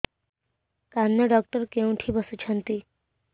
କାନ ଡକ୍ଟର କୋଉଠି ବସୁଛନ୍ତି